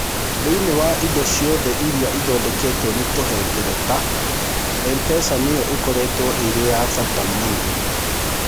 Thĩinĩ wa indo ciothe iria ithondeketwo nĩ tũhengereta, M-PESA nĩyo ĩkoretwo ĩrĩ ya bata mũno.